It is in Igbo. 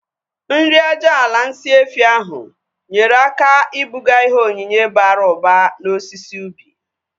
Nri aja ala nsị efi ahu nyere aka ibuga ihe onyinye bara ụba na osisi ubi